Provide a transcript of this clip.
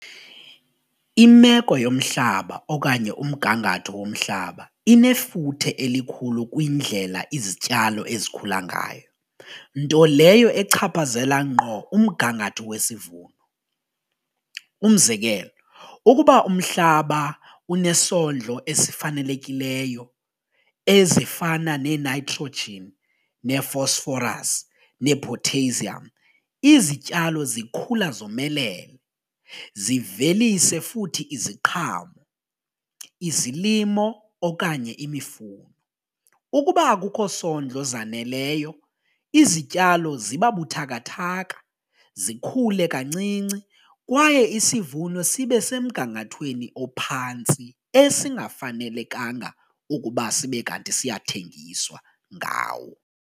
Imeko yomhlaba okanye umgangatho womhlaba inefuthe elikhulu kwindlela izityalo ezikhula ngayo nto leyo echaphazela ngqo umgangatho wesivuno, umzekelo ukuba umhlaba unesondlo esifanelekileyo ezifana nee-nitrogen, nee-phosphorus, nee-potassium izityalo zikhula zomelele zivelise futhi iziqhamo, izilimo okanye imifuno. Ukuba akukho sondlo zaneleyo izityalo ziba buthakathaka zikhule kancinci kwaye isivuno sibe semgangathweni ophantsi esingafanelekanga ukuba sibe kanti siyathengiswa ngawo.